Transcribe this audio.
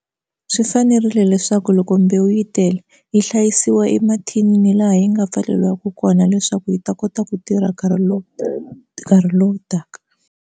Swi fanerile leswaku loko mbewu yi tele yi hlayisiwa emathinini laha yi nga pfuleliwaka kona leswaku yi ta kota ku tirha nkarhi lowu nkarhi lowu taka.